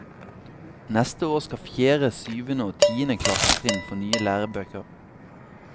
Neste år skal fjerde, syvende og tiende klassetrinn få nye lærebøker.